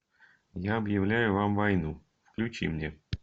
я объявляю вам войну включи мне